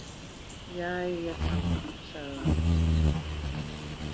Jæja þá, sagði hann.